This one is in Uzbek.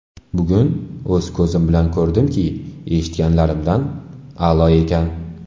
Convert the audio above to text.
Bugun o‘z ko‘zim bilan ko‘rdimki, eshitganlarimdan ham a’lo ekan.